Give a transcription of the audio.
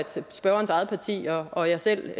spørgerens eget parti og jeg selv